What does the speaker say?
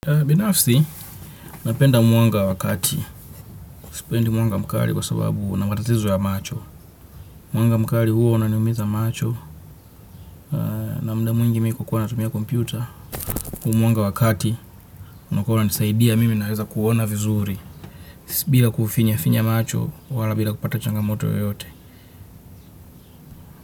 Binafsi, napenda mwanga wa kati. Sipendi mwanga mkali kwa sababu una matatizo ya macho. Mwanga mkali huwa unaniumiza macho. Na mda mwingi mi kukuwa natumia kompyuta. Huu mwanga wa kati, unakuwa unanisaidia mimi naweza kuona vizuri. Bila kufinyafinya macho, wala bila kupata changamoto yoyote.